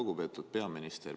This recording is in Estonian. Lugupeetud peaminister!